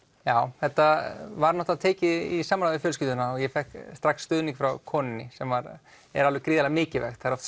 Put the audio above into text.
já þetta var náttúrulega tekið í samráði við fjölskylduna og ég fékk strax stuðning frá konunni sem er gríðarlega mikilvægt það er oft